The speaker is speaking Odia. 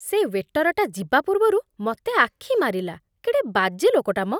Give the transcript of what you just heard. ସେ ୱେଟରଟା ଯିବା ପୂର୍ବରୁ ମତେ ଆଖିମାରିଲା । କେଡ଼େ ବାଜେ ଲୋକଟା ମ!